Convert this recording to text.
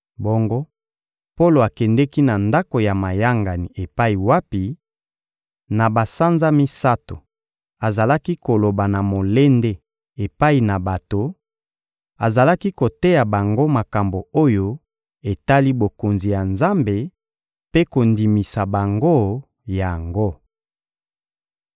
Bongo, Polo akendeki na ndako ya mayangani epai wapi, na basanza misato, azalaki koloba na molende epai na bato; azalaki koteya bango makambo oyo etali Bokonzi ya Nzambe mpe kondimisa bango yango.